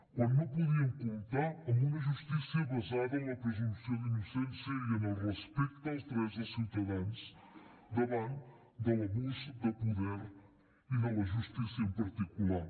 quan no podíem comptar amb una justícia basada en la presumpció d’innocència i en el respecte als drets dels ciutadans davant de l’abús de poder i de la justícia en particular